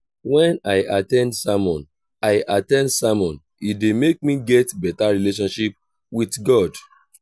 when i at ten d sermon i at ten d sermon e dey make me get better relationship with god.